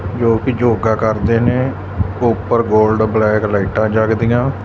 ਲੋਕੀ ਯੋਗਾ ਕਰਦੇ ਨੇ ਉੱਪਰ ਗੋਲਡ ਬਲੈਕ ਲਾਈਟਾ ਜਗਦੀਆਂ --